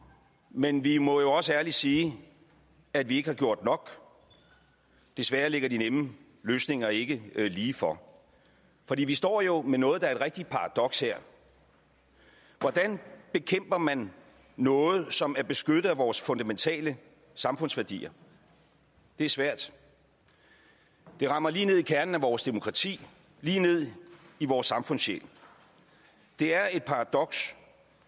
men vi må jo også ærligt sige at vi ikke har gjort nok desværre ligger de nemme løsninger ikke lige for fordi vi står jo med noget her der er et rigtigt paradoks hvordan bekæmper man noget som er beskyttet af vores fundamentale samfundsværdier det er svært det rammer lige ned i kernen af vores demokrati lige ned i vores samfundssjæl det er et paradoks